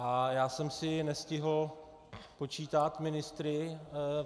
A já jsem si nestihl spočítat ministry.